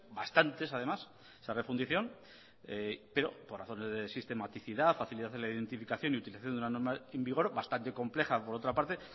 bastantes además esa refundición pero por razones de sistematicidad facilidad en la identificación y utilización de una norma en vigor bastante compleja por otra parte